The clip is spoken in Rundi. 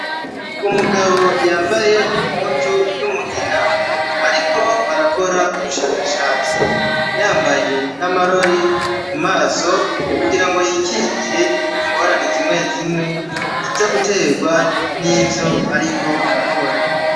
Umugabo yambaye impuzu y'umugina ariko arakora ubushakashatsi yambaye n'amarori ku maso kugira ngo yikingire ingorane zimwe zimwe ziza guterwa n'ivyo ariko arakora.